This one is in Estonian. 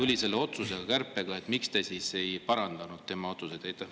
… tuli selle otsusega, kärpega, miks te siis ei parandanud tema otsust.